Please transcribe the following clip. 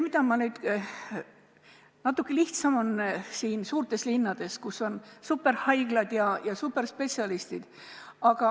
Natuke lihtsam on suurtes linnades, kus on superhaiglad ja superspetsialistid.